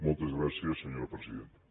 moltes gràcies senyora presidenta